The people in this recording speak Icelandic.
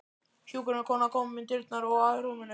Hjúkrunarkona kom inn um dyrnar og að rúminu.